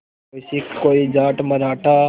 कोई सिख कोई जाट मराठा